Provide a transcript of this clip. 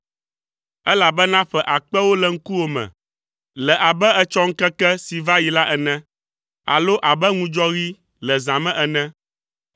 Elabena ƒe akpewo le ŋkuwò me le abe etsɔ ŋkeke si va yi la ene, alo abe ŋudzɔɣi le zã me ene.